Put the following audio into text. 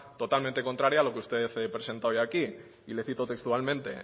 totalmente contraria a lo que usted presenta hoy aquí y le cito textualmente